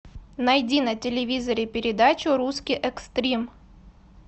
найди на телевизоре передачу русский экстрим